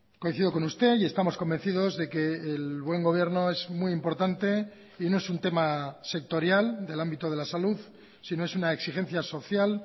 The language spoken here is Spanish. coincido con usted y estamos convencidos de que el buen gobierno es muy importante y no es un tema sectorial del ámbito de la salud sino es una exigencia social